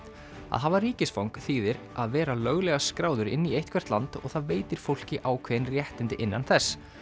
að hafa ríkisfang þýðir að vera löglega skráður inn í eitthvert land og það veitir fólki ákveðin réttindi innan þess